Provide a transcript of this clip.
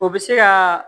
O bɛ se ka